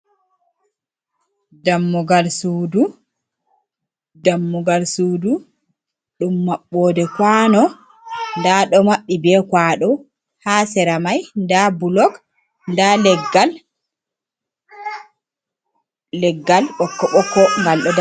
Dammugal sudu ɗum mabɓode kwano, nda ɗo maɓɓi be kwado, ha seramai nda bulog, nda leggal boko bokko ngal ɗo da.